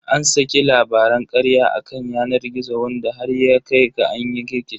An saki labaran karya a kan yanar gizo wanda har ya kai ga an yi rikici.